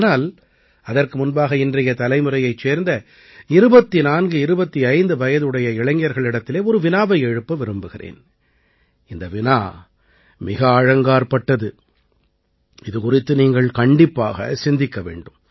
ஆனால் அதற்கு முன்பாக இன்றைய தலைமுறையைச் சேர்ந்த 2425 வயதுடைய இளைஞர்களிடத்திலே ஒரு வினாவை எழுப்ப விரும்புகிறேன் இந்த வினா மிக ஆழங்காற்பட்டது இது குறித்து நீங்கள் கண்டிப்பாகச் சிந்திக்க வேண்டும்